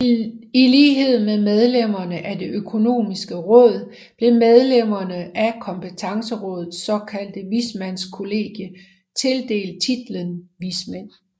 I lighed med medlemmerne af Det økonomiske råd blev medlemmerne af Kompetencerådets såkaldte vismandskollegie tildelt titlen vismænd